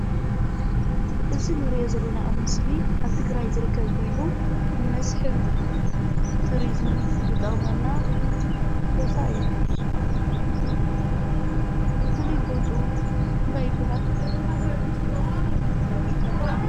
እዚ ንርኦ ዘለና ኣብ ምስሊ ኣብ ትግራይ ዝርከብ ኮይኑ፣ ንመስሕብ ቱሪዝም ዝጠቅመና ቦታ እዩ። ፍሉይ ቦትኡ እንታይ ይብሃል።